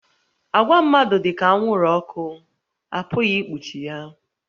Àgwà mmadụ dị ka anwụrụ ọkụ, a pụghị ikpuchi ya